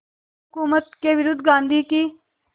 हुकूमत के विरुद्ध गांधी की